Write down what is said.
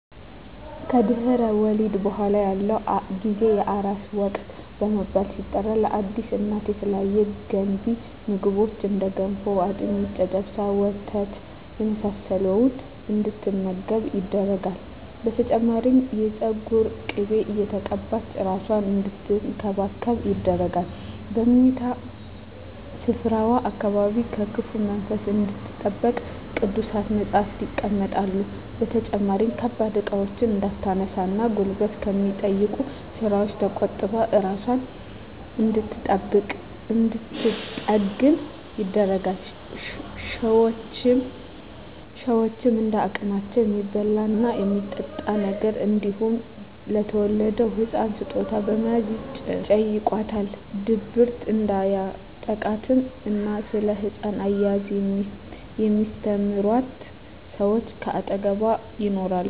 ከድህረ ወሊድ በኃላ ያለው ጊዜ የአራስነት ወቅት በመባል ሲጠራ ለአዲስ እናት የተለያዩ ገንቢ ምግቦች እንደ ገንፎ፣ አጥሚት፣ ጨጨብሳ፣ ወተት የመሳሰለውን እንድትመገብ ይደረጋል። በተጨማሪም የፀጉር ቅቤ እየተቀባች እራሷን አንድትንከባከብ ይደረጋል። በምኝታ ስፍራዋ አካባቢም ከክፉ መንፈስ እንድትጠበቅ ቅዱሳት መፀሃፍት ይቀመጣሉ። በተጨማሪም ከባድ እቃዎችን እንዳታነሳ እና ጉልበት ከሚጠይቁ ስራወች ተቆጥባ እራሷን እንድንትጠግን ይደረጋል። ሸወችም እንደ አቅማቸው የሚበላ እና የሚጠጣ ነገር እንዲሁም ለተወለደዉ ህፃን ስጦታ በመያዝ ይጨይቋታል። ድብርት እንዲያጠቃትም እና ስለ ህፃን አያያዝ የሚስተምሯት ሰወች ከአጠገቧ ይኖራሉ።